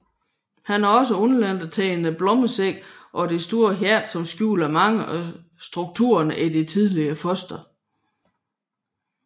Han har også undladt at tegne blommesækken og det store hjerte som skjuler mange af strukturerne i det tidlige foster